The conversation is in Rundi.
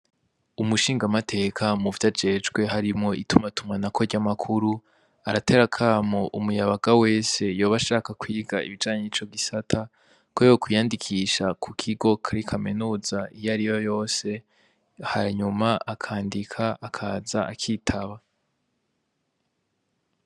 Umushingamateka muvyajejwe harimwo itumwatumwanako ry’ amakuru aratera akamo umuyabaga wese yoba ashaka kwiga ibijanye n’ico gisata ko yokwiyandikisha ku kigo kuri kaminuza iyariyo yose hanyuma akandika akaza akitaba.